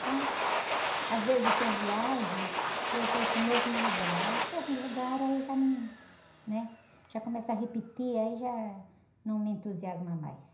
Então, às vezes tem viagem que é para ir para o mesmo lugar, aí no mesmo lugar já num, começa a repetir, aí já não me entusiasma mais.